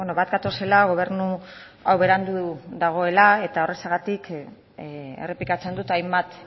bat gatozela gobernu hau berandu dagoela eta horrexegatik errepikatzen dut hainbat